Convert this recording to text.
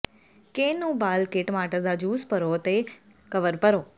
ਕੇਨ ਨੂੰ ਉਬਾਲ ਕੇ ਟਮਾਟਰ ਦਾ ਜੂਸ ਭਰੋ ਅਤੇ ਕਵਰ ਭਰੋ